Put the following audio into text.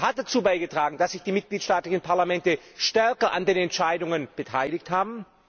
Er hat dazu beigetragen, dass sich die mitgliedstaatlichen Parlamente stärker an den Entscheidungen beteiligt haben.